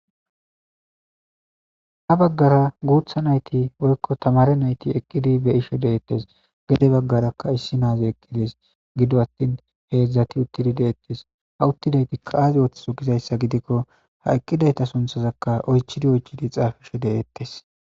Habbagara guththa naytti woyko taammare naytti eeqidi be'shshe deetes gedde baggarakay naa'y eeqidi be'shshe deese giddo attin hedzdzati be'shshe deetes uttidaytika aayi otjthizo giikoa haa eqqqidaytta sinththazaka oychchid oychchidi xaapishshe deetes